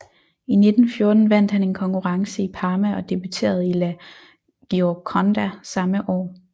I 1914 vandt han en konkurrence i Parma og debuterede i La Gioconda samme år